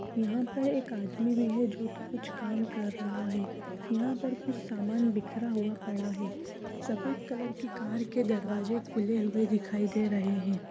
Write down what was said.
यहाँ पर एक आदमी भी है जो कि कुछ कम कर रहा है यहाँ पर कुछ सामान बिखरा हुआ पड़ा है सफेद कलर की कार के दरवाजे खुले हुए दिखाई दे रहें हैं।